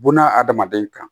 Buna adamaden kan